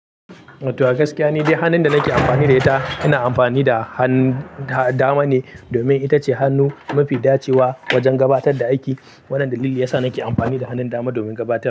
To a gaskiya, ni dai hannun da nake amfani da ita ina amfani da hannun dama ne domin ita ce hannu mafi dacewa wajen gabatar da aiki. Wannan dalili ya sa nake amfani da hannun dama domin gabatar.